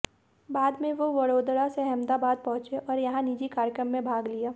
बाद में वे वडोदरा से अहमदाबाद पहुंचे और यहां निजी कार्यक्रम में भाग लिया